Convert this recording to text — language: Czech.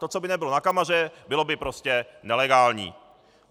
To, co by nebylo na kameře, bylo by prostě nelegální.